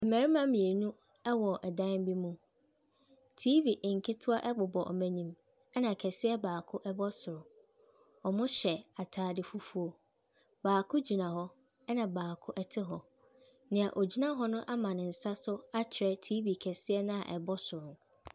Mmarima mmienu wɔ dan bi mu. TV nketewa bobɔ wɔn anim, ɛnna kɛseɛ baako bɔ soro. Wɔhyɛ atade fufuo. Baako gyina hɔ, ɛnna baako te hɔ. Nea ɔgyina hɔ no ama ne nsa akyerɛ TV kɛseɛ no a ɛbɔ soro no.